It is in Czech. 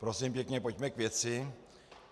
Prosím pěkně, pojďme k věci.